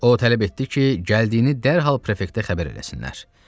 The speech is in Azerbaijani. O tələb etdi ki, gəldiyini dərhal prefektə xəbər eləsinlər.